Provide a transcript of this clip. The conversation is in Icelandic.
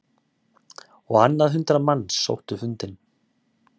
Á annað hundrað manns sótti fundinn